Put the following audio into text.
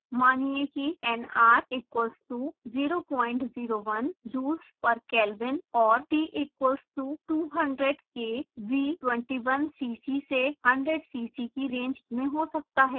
मानिए कि nr equals to 001 joules per kelvin और t equals to 200k v 21cc से 100cc की रेंज में हो सकता है